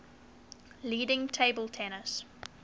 leading table tennis